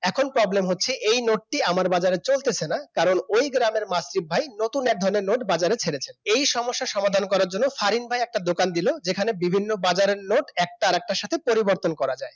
এখন problem হচ্ছে এই নোটটি আমার বাজারে চলতেছে না কারণ ওই গ্রামের মাসিফ ভাই নতুন এক ধরনের নোট বাজারে ছেড়েছে এই সমস্যা সমাধান করার জন্য ফারিন ভাই একটি দোকান দিল যেখানে বিভিন্ন বাজারের নোট একটি আরেকটির সাথে পরিবর্তন করা যায়